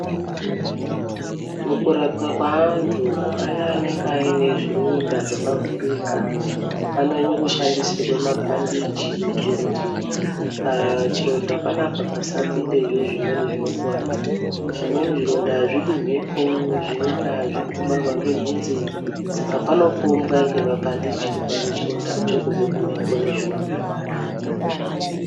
Mukurapwa kweantu aya anenge aine zvironda zvakavhurika anyanye kushandisirwa mabhandichi kuitira kuti pachironda panapa pasapindezve zvezvimweni zvinokuvadza. Zvimweni zvironda hazvidi mhepo zvimweni hazvidi kumharwa ngenhunzi. Saka panopombwa nemabhandichi kuvhare chirondacho kubva kumhepo nezvimweni zvinokuvadza.